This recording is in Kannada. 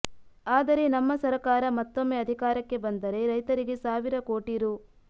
ಆದರೆ ನಮ್ಮ ಸರಕಾರ ಮತ್ತೊಮ್ಮೆ ಅಧಿಕಾರಕ್ಕೆ ಬಂದರೆ ರೈತರಿಗೆ ಸಾವಿರ ಕೋಟಿ ರೂ